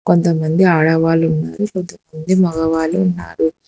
కొంతమంది ఆడవాళ్లు ఉన్నారు కొంతమంది మగవాళ్లు ఉన్నారు.